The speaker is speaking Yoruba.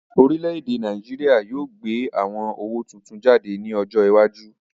Orílè-èdè Nàìjíríà yóò gbé àwon owó tuntun jáde ní ọjọ iwájú